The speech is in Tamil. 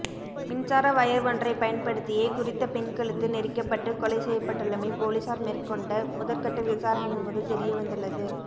மின்சார வயர் ஒன்றை பயன்படுத்தியே குறித்த பெண் கழுத்து நெரிக்கப்பட்டு கொலை செய்யப்பட்டுள்ளமை பொலிஸார் மேற்கொண்ட முதற்கட்ட விசாரணையின்போது தெரியவந்துள்ளது